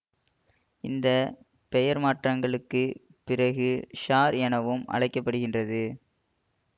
இந்த பெயர் மாற்றங்களுக்குப் பிறகு ஷார் எனவும் அழைக்க படுகின்றது